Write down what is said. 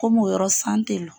Komi o yɔrɔ san tɛ lɔ.